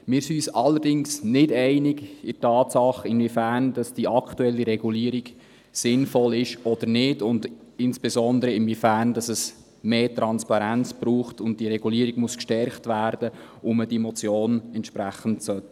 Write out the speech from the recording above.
Wir sind uns allerdings nicht einig, inwiefern die aktuelle Regulierung sinnvoll ist, insbesondere inwiefern es mehr Transparenz braucht, und diese Regulierung gestärkt werden muss und somit, ob diese Motion angenommen werden soll.